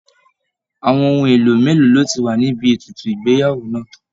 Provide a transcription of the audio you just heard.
Àwọn ohun èlò mélòó ló ti wà níbi ètùtù ìgbéyàwó náà?